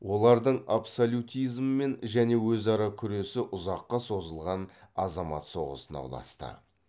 олардың абсолютизммен және өзара күресі ұзаққа созылған азамат соғысына ұласты